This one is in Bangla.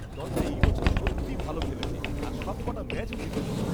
দলটা এই বছর সত্যি ভালো খেলেছে আর সবকটা ম্যাচও জিতেছে।